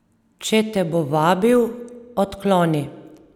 Če te bo vabil, odkloni.